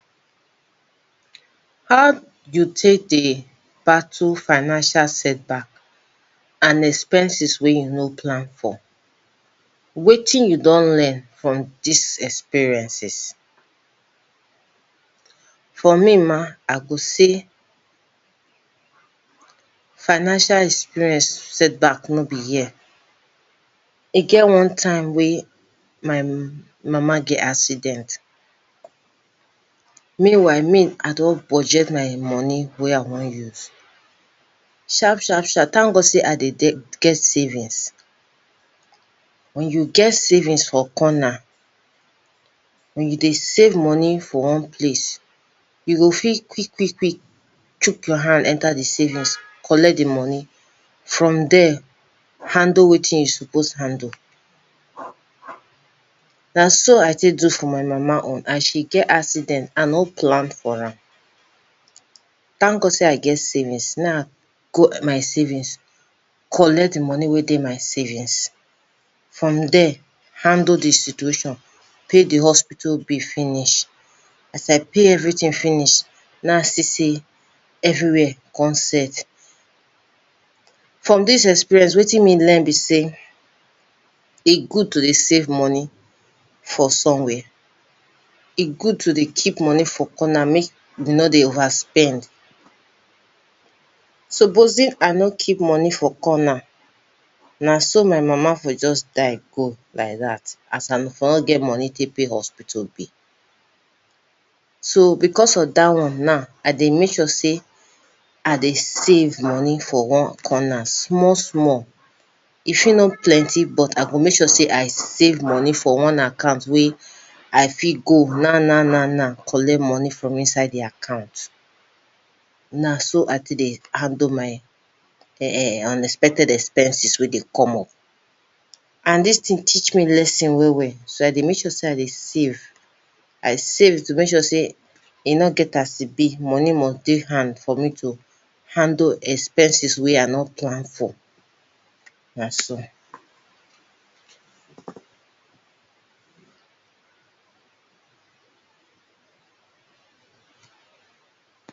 How you take dey battle financial setback and expenses wey you no plan for? Wetin you don learn from dis experiences? For me mah, I go say financial experience setback no be here. E get one time wey my mama get accident. Meanwhile, me I don budget my money wey I wan use. Sharp-sharp-sharp, thank God sey I dey get savings. When you get savings for corner, when you dey save money for one place, you go fit quick-quick-quick chook your hand enter de savings collect de money. From dere, handle wetin you suppose handle. Na so I take do for my mama own and she get accident I no plan for am. Thank God sey I get savings. Na I go my savings, collect de money wey dey my savings. From dere, handle de situation, pay di hospital bill finish. As I pay everything finish, na I see say everywhere come set. From dis experience, wetin me learn be sey, e good to dey save money for somewhere. E good to dey keep money for corner make you no dey overspend. Supposing I no keep money for corner, na so my mama for just die go like dat as I for no get money take pay hospital bill. So, because of dat one now, I dey make sure sey I dey save money for one corner small-small. E fit no plenty, but I go make sure sey I save money for one account wey I fit go na na-na na, collect money from inside di account. Na so I take dey handle my um unexpected expenses wey dey come up. And dis thing teach me lesson well-well, so I dey make sure sey I dey save. I save to make sure sey e no get as e be, money must dey hand for me to handle expenses wey I no plan for. Na so!